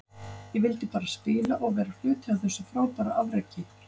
Ég vildi bara spila og vera hluti af þessu frábæra afreki.